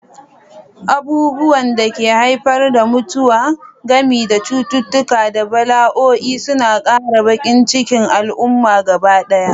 Abubuwan da ke haifar da mutuwa, gami da cututtuka da bala'o'i, suna ƙara baƙin cikin al'umma gabaɗaya.